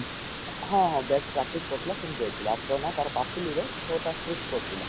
ହଁ ହଁ bat practice କରୁଥିଲା ଛିଣ୍ଡିଯାଇଥିଲା ହାତ ନା ତାର ପାପୁଲି ରେ ଛଅ ଟା stich ପଡିଥିଲା